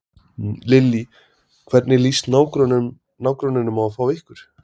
Lillý: Hvernig lýst nágrönnunum á að fá ykkur?